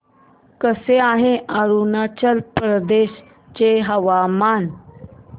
कसे आहे अरुणाचल प्रदेश चे हवामान